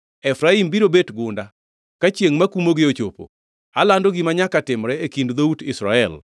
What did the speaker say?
Efraim biro bet gunda ka chiengʼ makumogie ochopo. Alando gima nyaka timre e kind dhout Israel.